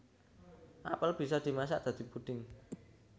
Apel bisa dimasak dadi puding